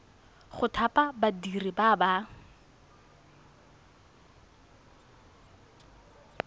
go thapa badiri ba ba